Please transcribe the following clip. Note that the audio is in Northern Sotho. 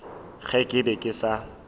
ge ke be ke sa